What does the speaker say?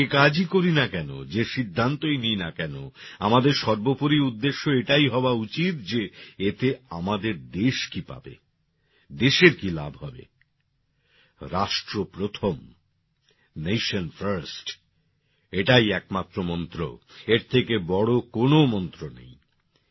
আমরা যে কাজই করি না কেন যে সিদ্ধান্তই নিই না কেন আমাদের সর্বোপরি উদ্দেশ্য এটাই হওয়া উচিত যে এতে আমাদের দেশ কি পাবে দেশের কি লাভ হবে রাষ্ট্র প্রথম নেশন First এটাই একমাত্র মন্ত্র এর থেকে বড় কোনো মন্ত্র নেই